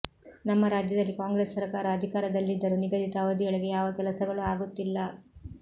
ನಮ್ಮ ರಾಜ್ಯದಲ್ಲಿ ಕಾಂಗ್ರೆಸ್ ಸರಕಾರ ಅಧಿಕಾರದಲ್ಲಿದ್ದರೂ ನಿಗದಿತ ಅವಧಿಯೊಳಗೆ ಯಾವ ಕೆಲಸಗಳು ಆಗುತ್ತಿಲ್ಲ